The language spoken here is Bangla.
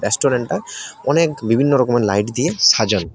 রেস্টরেন্টটা অনেক বিভিন্নরকমের লাইট দিয়ে সাজানো।